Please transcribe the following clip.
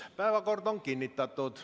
Päevakord on kinnitatud.